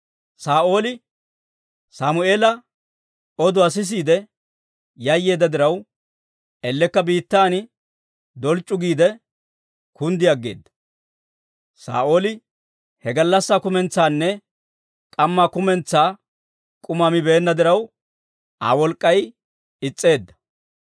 Saa'ooli Sammeela oduwaa sisiide yayyeedda diraw, ellekka biittan dolc'c'u giide kunddi aggeeda. Saa'ooli he gallassaa kumentsaanne k'ammaa kumentsaa k'uma mibeenna diraw, Aa wolk'k'ay is's'eedda.